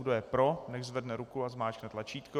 Kdo je pro, nechť zvedne ruku a zmáčkne tlačítko.